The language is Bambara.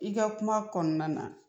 I ka kuma kɔnɔna na